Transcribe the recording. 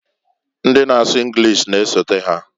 Ndi na asu Enlish na-esota ha.